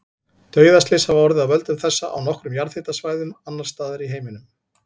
Dauðaslys hafa orðið af völdum þessa á nokkrum jarðhitasvæðum annars staðar í heiminum.